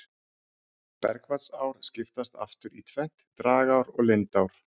Bergvatnsár skiptast aftur í tvennt, dragár og lindár.